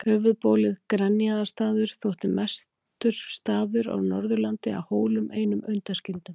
Höfuðbólið Grenjaðarstaður þótti mestur staður á Norðurlandi að Hólum einum undanskildum.